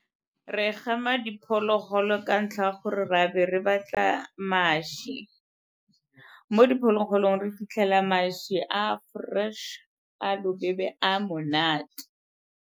Re gama diphologolo ka ntlha ya gore ra be re batla mašwi. Mo diphologolong re fitlhela mašwi a a fresh, a a bobebe a a monate.